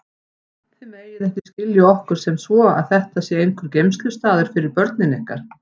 Þið megið ekki skilja okkur sem svo að þetta sé einhver geymslustaður fyrir börnin ykkar.